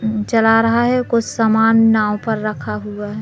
नज़र आ रहा है कुछ सामान नाव पर रखा हुआ है।